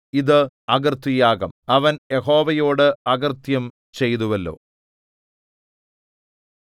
ഇത് അകൃത്യയാഗം അവൻ യഹോവയോട് അകൃത്യം ചെയ്തുവല്ലോ